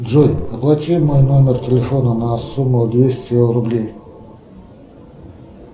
джой оплати мой номер телефона на сумму двести рублей